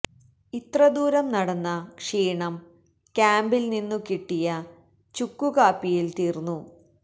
ഇത്ര ദൂരം നടന്ന ക്ഷീണം ക്യാമ്പില് നിന്നു കിട്ടിയ ചുക്കു കാപ്പിയില് തീര്ന്നു